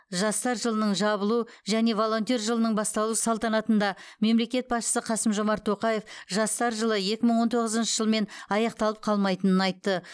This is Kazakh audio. жастар жылының жабылу және волонтер жылының басталу салтанатында мемлекет басшысы қасым жомарт тоқаев жастар жылы екі мың он тоғызыншы жылмен аяқталып қалмайтынын айтты